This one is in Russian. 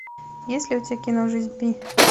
есть ли у тебя кино жизнь пи